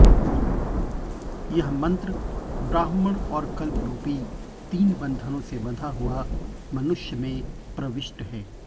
यह मंत्र ब्राह्मण और कल्परूपी तीन बंधनों से बँधा हुआ मनुष्य में प्रविष्ट है